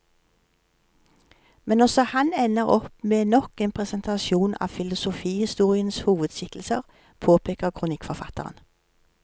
Men også han ender opp med nok en presentasjon av filosofihistoriens hovedskikkelser, påpeker kronikkforfatteren.